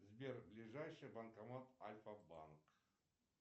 сбер ближайший банкомат альфа банк